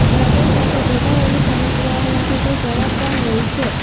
હ્રદય સાથે જોડાયેલી સમસ્યાઓ માટે તે જવાબદાર હોય છે